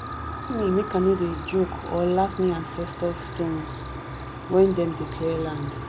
them warn me make i no dey joke or laugh near ancestor stones when them dey clear land.